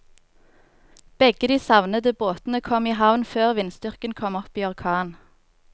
Begge de savnede båtene kom i havn før vindstyrken kom opp i orkan.